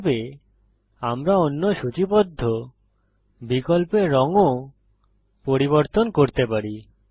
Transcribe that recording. এইভাবে আমরা অন্য সূচিবদ্ধ বিকল্পের রং ও পরিবর্তন করতে পারি